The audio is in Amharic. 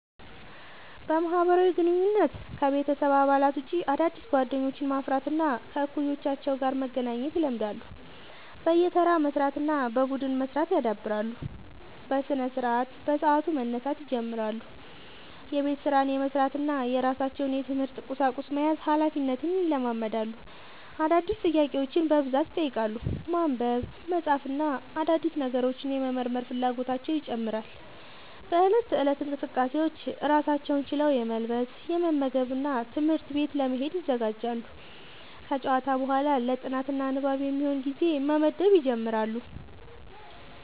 በማህበራዊ ግንኙነት: ከቤተሰብ አባላት ውጭ አዳዲስ ጓደኞችን ማፍራት እና ከእኩዮቻቸው ጋር መገናኘት ይለምዳሉ። በየተራ መስራት እና በቡድን መስራት ያዳብራሉ። በስነስርዓት : በሰዓቱ መነሳት ይጀምራሉ። የቤት ስራን የመስራት እና የራሳቸውን የትምህርት ቁሳቁስ መያዝ ሀላፊነትን ይለማመዳሉ። አዳዲስ ጥያቄዎችን በብዛት ይጠይቃሉ። ማንበብ፣ መጻፍ እና አዳዲስ ነገሮችን የመመርመር ፍላጎታቸው ይጨምራል።. በእለት ተእለት እንቅስቃሴዎች: ራሳቸውን ችለው የመልበስ፣ የመመገብ እና ትምህርት ቤት ለመሄድ ይዘጋጃሉ። ከጨዋታ በኋላ ለ ጥናት እና ንባብ የሚሆን ጊዜ መመደብ ይጀምራሉ።